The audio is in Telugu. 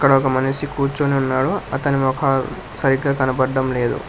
ఇక్కడ ఒక మనిషి కూర్చుని ఉన్నాడు అతని మోకాలు సరిగ్గా కనబడడం లేదు.